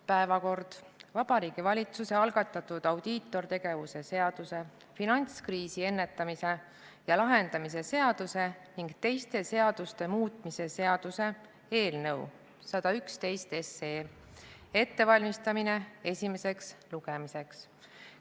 Päevakord: Vabariigi Valitsuse algatatud audiitortegevuse seaduse, finantskriisi ennetamise ja lahendamise seaduse ning teiste seaduste muutmise seaduse eelnõu 111 ettevalmistamine esimeseks lugemiseks.